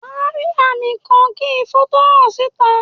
Wà á rí àwọn àmì kan kí ifo tó hàn síta.